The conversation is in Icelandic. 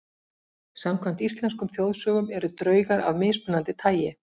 Samkvæmt íslenskum þjóðsögum eru draugar af mismunandi tagi.